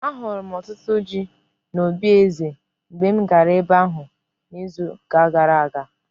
Ahụrụ m ọtụtụ ji n'obí eze mgbe m gara ebe ahụ n'izu gara aga.